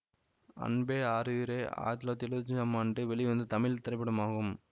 அன்பே ஆருயிரே ஆயிரத்தி தொள்ளாயிரத்தி எழுவத்தி ஐந்தாம் ஆண்டு வெளிவந்தத் தமிழ் திரைப்படமாகும்